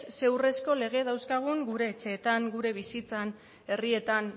zein urrezko lege dauzkagun gure etxeetan gure bizitzan herrietan